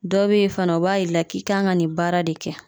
Dɔ be ye fana o b'a yir' i la k'i kan ka nin baara de kɛ